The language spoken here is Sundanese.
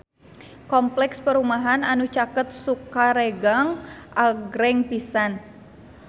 Kompleks perumahan anu caket Sukaregang agreng pisan